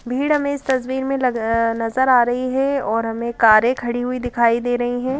भीड़ हमें इस तस्वीर में लग नजर आ रही है और हमें कारें खड़ी हुई दिखाई दे रही हैं ।